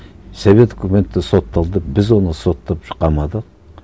совет үкіметі сотталды біз оны соттап қамадық